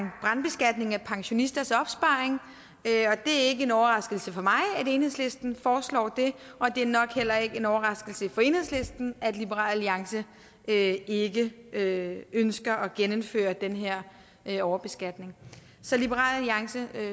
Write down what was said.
brandbeskatning af pensionisters opsparing det er ikke en overraskelse for mig at enhedslisten foreslår det og det er nok heller ikke en overraskelse for enhedslisten at liberal alliance ikke ikke ønsker at genindføre den her her overbeskatning så liberal alliance